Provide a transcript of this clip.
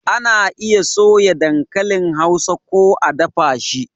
Ana iya soya dankalin Hausa ko a dafa shi